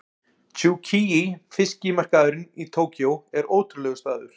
Tsukiji fiskmarkaðurinn í Tókýó er ótrúlegur staður.